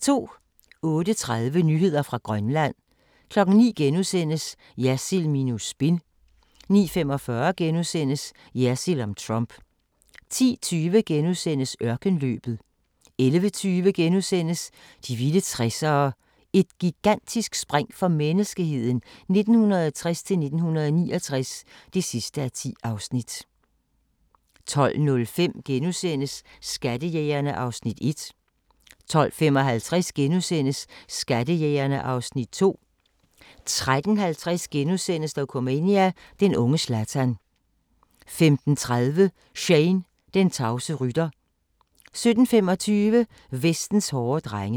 08:30: Nyheder fra Grønland 09:00: Jersild minus spin * 09:45: Jersild om Trump * 10:20: Ørkenløbet * 11:20: De vilde 60'ere: Et gigantisk spring for menneskeheden 1960-69 (10:10)* 12:05: Skattejægerne (Afs. 1)* 12:55: Skattejægerne (Afs. 2)* 13:50: Dokumania: Den unge Zlatan * 15:30: Shane, den tavse rytter 17:25: Vestens hårde drenge